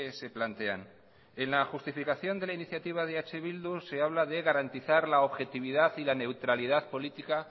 se plantean en la justificación de la iniciativa de eh bildu se habla de garantizar la objetividad y la neutralidad política